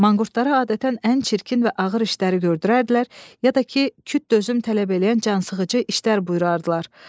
Manqurtlara adətən ən çirkin və ağır işləri gördürərdilər, ya da ki, küt dözüm tələb eləyən cansıxıcı işlər buyurardılar.